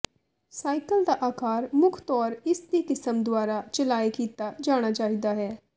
cycle ਦਾ ਆਕਾਰ ਮੁੱਖ ਤੌਰ ਇਸ ਦੀ ਕਿਸਮ ਦੁਆਰਾ ਚਲਾਏ ਕੀਤਾ ਜਾਣਾ ਚਾਹੀਦਾ ਹੈ